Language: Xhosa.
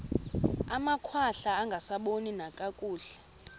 amakhwahla angasaboni nakakuhle